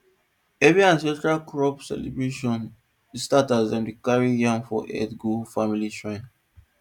every ancestral crop celebration start as dem dey carry yam for head go family shrine